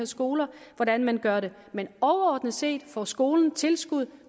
skolerne hvordan man gør det men overordnet set får skolen tilskud